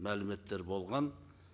мәліметтер болған